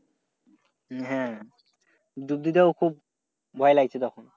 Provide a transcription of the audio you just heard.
হ্যাঁ ডুব দিতে খুব ভয় লাগছে তখন।